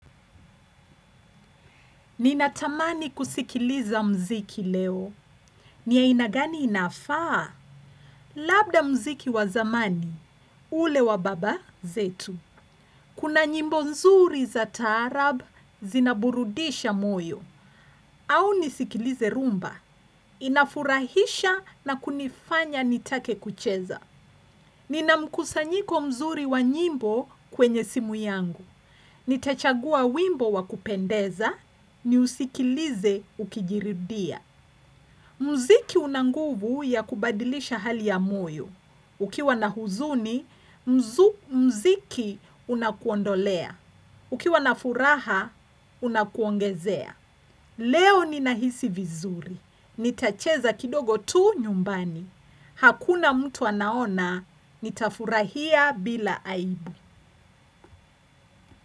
Ninatamani kusikiliza mziki leo. Ni aina gani inafaa? Labda mziki wazamani, ule wa baba, zetu. Kuna nyimbo nzuri za taarab, zinaburudisha moyo. Au nisikilize rumba. Inafurahisha na kunifanya nitake kucheza. Nina mkusanyiko mzuri wa nyimbo, kwenye simu yangu. Nitachagua wimbo wakupendeza, ni usikilize ukijiridia. Mziki unanguvu ya kubadilisha hali ya moyo. Ukiwa na huzuni, mziki unakuondolea. Ukiwa na furaha, unakuongezea. Leo ni nahisi vizuri. Nitacheza kidogo tu, nyumbani. Hakuna mtu anaona, nitafurahia, bila aibu.